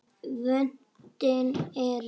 Vötnin eru